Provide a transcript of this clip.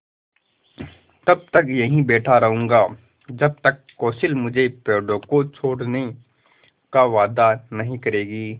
तब तक यहीं बैठा रहूँगा जब तक कौंसिल मुझे पेड़ों को छोड़ने का वायदा नहीं करेगी